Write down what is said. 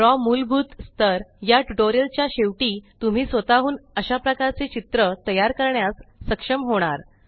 draw मुलभूत स्थर या ट्युटोरीयल च्या शेवटी तुम्ही स्वतःहून अशाप्रकारचे चित्र तयार करण्यास सक्षम होणार